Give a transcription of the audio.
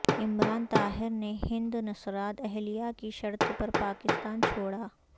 عمران طاہر نے ہند نژاد اہلیہ کی شرط پر پاکستان چھوڑا